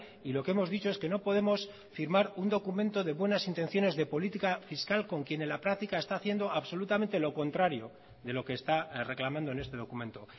y lo que hemos dicho es que no podemos firmar un documento de buenas intenciones de política fiscal con quien en la práctica está haciendo absolutamente lo contrario de lo que está reclamando en este documento